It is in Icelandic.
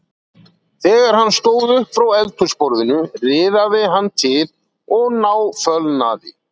Þegar hann stóð upp frá eldhúsborðinu riðaði hann til og náfölnaði.